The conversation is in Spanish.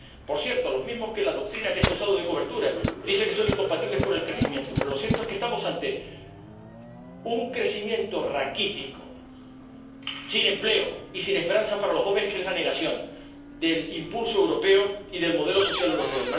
Por cierto, los mismos que la doctrina que se ha usado de cobertura dice que son incompatibles con el crecimiento pero lo cierto es que estamos ante un crecimiento raquítico, sin empleo y sin esperanza para los jóvenes, que es la negación del impulso europeo y del modelo social europeo.